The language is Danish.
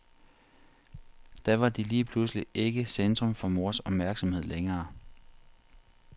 Da var de lige pludselig ikke centrum for mors opmærksomhed længere.